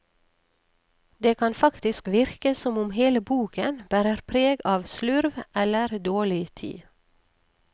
Det kan faktisk virke som om hele boken bærer preg av slurv, eller dårlig tid.